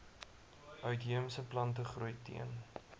uitheemse plantegroei teen